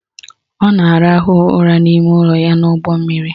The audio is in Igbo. Ọ na-arahụ ụra n'ime ụlọ ya n'ụgbọmmiri